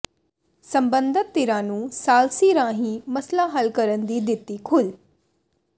ਸਬੰਧਤ ਧਿਰਾਂ ਨੂੰ ਸਾਲਸੀ ਰਾਹੀਂ ਮਸਲਾ ਹੱਲ ਕਰਨ ਦੀ ਦਿੱਤੀ ਖੁੱਲ੍ਹ